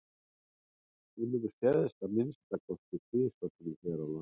hún hefur sést að minnsta kosti tvisvar sinnum hér við land